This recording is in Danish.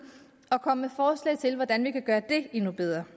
og komme med forslag til hvordan vi kan gøre det endnu bedre